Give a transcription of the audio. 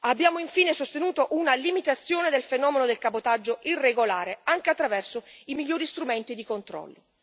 Abbiamo infine sostenuto una limitazione del fenomeno del cabotaggio irregolare, anche attraverso migliori strumenti di controllo.